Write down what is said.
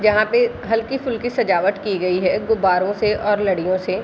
जहाँ पे हल्के फुलके सजवट की गयी है गुब्बारों से और लड़ियों से --